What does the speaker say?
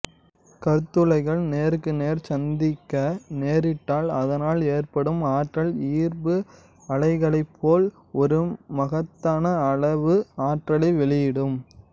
கருந்துளைகள் நேருக்கு நேர் சந்திக்க நேரிட்டால் அதனால் ஏற்படும் ஆற்றல் ஈர்ப்பு அலைகளைப்போல் ஒரு மகத்தான அளவு ஆற்றலை வெளியிடும்